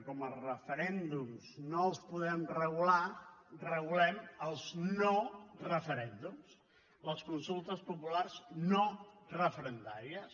com els referèndums no els podem regular regulem els noreferèndums les consultes populars no referendàries